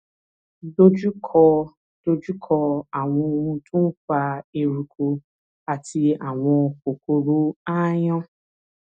dojú kọ dojú kọ àwọn ohun tó ń fa eruku àti àwọn kòkòrò aáyán